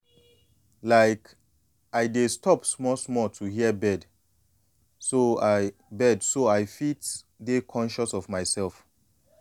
like i dey stop small small to hear birds so i birds so i fit dey conscious of myself.